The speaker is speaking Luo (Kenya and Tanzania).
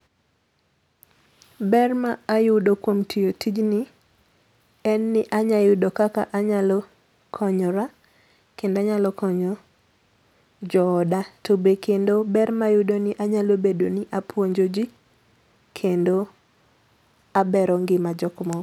Ber ma ayudo kuom tiyo tijni en ni anya yudo kaka anyalo konyora kendo anyalo konyo jooda to be kendo ber a ayudo ni anyalo bedo ni apuonjo jii kendo abero ngima jok moko.